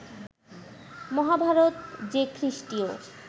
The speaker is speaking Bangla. মহাভারত যে খ্রীষ্টীয়